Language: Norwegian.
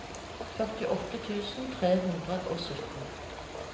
førtiåtte tusen tre hundre og sytten